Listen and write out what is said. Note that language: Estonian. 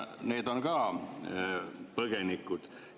Need on ka põgenikud.